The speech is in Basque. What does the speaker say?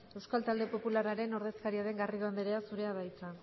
euskal talde popularraren ordezkaria den garrido andrea zurea da hitza